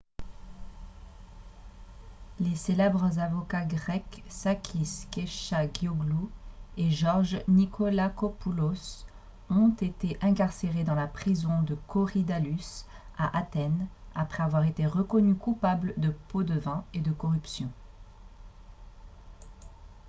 les célèbres avocats grecs sakis kechagioglou et george nikolakopoulos ont été incarcérés dans la prison de korydallus à athènes après avoir été reconnus coupables de pots-de-vin et de corruption